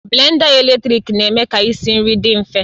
Blenda eletrik na-eme ka isi nri dị mfe